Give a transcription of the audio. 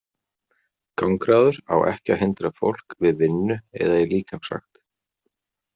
Gangráður á ekki að hindra fólk við vinnu eða í líkamsrækt.